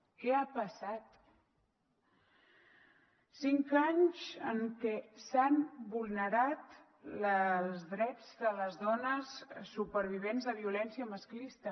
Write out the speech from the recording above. què ha passat cinc anys en què s’han vulnerat els drets de les dones supervivents de violència masclista